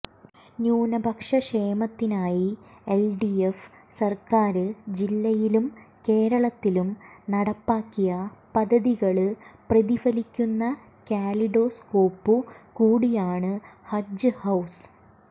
ന്യൂനപക്ഷക്ഷേമത്തിനായി LDF സര്ക്കാര് ജില്ലയിലും കേരളത്തിലും നടപ്പാക്കിയ പദ്ധതികള് പ്രതിഫലിക്കുന്ന കാലിഡോസ്കോപ്പുകൂടിയാണ് ഹജ്ജ് ഹൌസ്